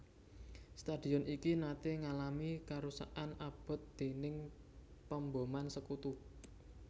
Stadion iki naté ngalami karusakan abot déning pemboman Sekutu